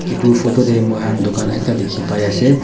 Etu photo tey moihan dukan ekta dekhi pai ase.